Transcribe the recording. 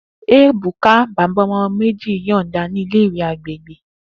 Ebuka, baba ọmọ meji, yọọda ni ile-iwe agbegbe.